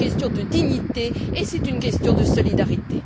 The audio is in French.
C'est une question de dignité, et c'est une question de solidarité.